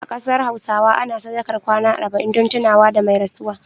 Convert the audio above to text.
A kasar Hausawa ana sadakar kwana arba'in dun tuna da mai rasuwa